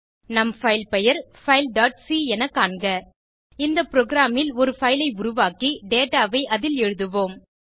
நம் பைல் பெயர் fileசி என காண்க இந்த புரோகிராம் ல் ஒரு பைல் ஐ உருவாக்கி டேட்டா ஐ அதில் எழுதுவோம்